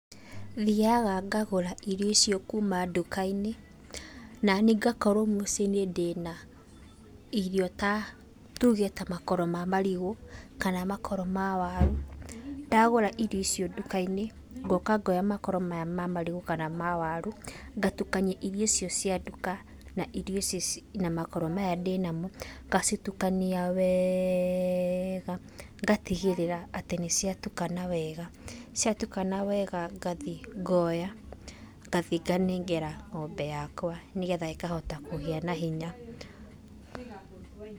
Thiaga ngagũra irio icio kuuma nduka-inĩ, na ni ngakorwo mũciĩ ndĩna irio ta, tuge ta makoro ma marigũ, kana makoro ma waru. Ndagũra irio icio nduka-inĩ, ngoka ngoya makoro maya ma marigũ, kana ma waru ngatukania irio icio cia nduka, na irio icio, na makoro maya ndĩna mo. Ngacitukania wega ngatigĩrĩra atĩ nĩ ciatukana wega. Ciatukana wega, ngathi ngoya ngathi nganengera ng'ombe yakwa nĩgetha ĩkahota kũgĩa na hinya.